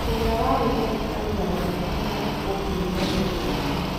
ũrĩa warĩ ndagĩtarĩ wa nyamũ agathikwo kiumia gĩũkite